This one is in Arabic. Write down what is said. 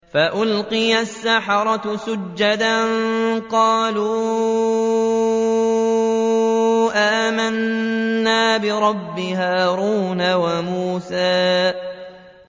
فَأُلْقِيَ السَّحَرَةُ سُجَّدًا قَالُوا آمَنَّا بِرَبِّ هَارُونَ وَمُوسَىٰ